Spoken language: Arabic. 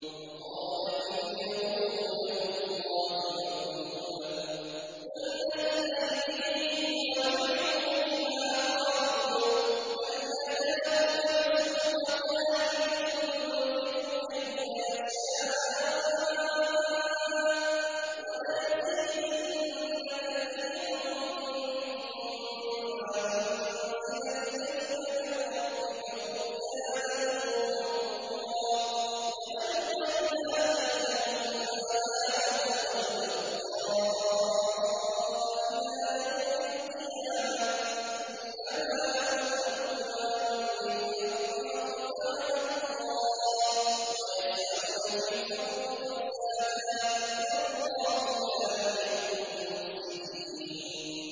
وَقَالَتِ الْيَهُودُ يَدُ اللَّهِ مَغْلُولَةٌ ۚ غُلَّتْ أَيْدِيهِمْ وَلُعِنُوا بِمَا قَالُوا ۘ بَلْ يَدَاهُ مَبْسُوطَتَانِ يُنفِقُ كَيْفَ يَشَاءُ ۚ وَلَيَزِيدَنَّ كَثِيرًا مِّنْهُم مَّا أُنزِلَ إِلَيْكَ مِن رَّبِّكَ طُغْيَانًا وَكُفْرًا ۚ وَأَلْقَيْنَا بَيْنَهُمُ الْعَدَاوَةَ وَالْبَغْضَاءَ إِلَىٰ يَوْمِ الْقِيَامَةِ ۚ كُلَّمَا أَوْقَدُوا نَارًا لِّلْحَرْبِ أَطْفَأَهَا اللَّهُ ۚ وَيَسْعَوْنَ فِي الْأَرْضِ فَسَادًا ۚ وَاللَّهُ لَا يُحِبُّ الْمُفْسِدِينَ